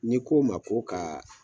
N'i k'o ma k'o kaa